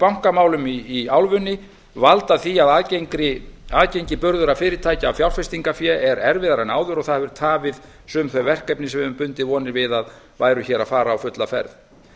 bankamálum í álfunni valda því að aðgengi burðugra fyrirtækja að fjárfestingafé er erfiðara en áður og það hefur tafið sum þau verkefni sem við höfum bundið vonir við að væru hér að fara á fulla ferð